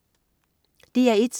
DR1: